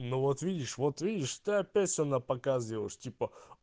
ну вот видишь вот видишь ты опять все напоказ делаешь типа